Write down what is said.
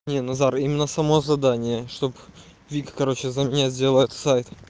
нет назар именно само задание чтоб вика короче за меня сделает этот сайт